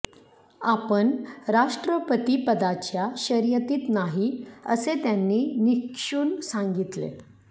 आपण राष्ट्रपतीपदाच्या शर्यतीत नाही असे त्यांनी निक्षून सांगितले